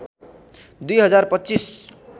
२ हजार २५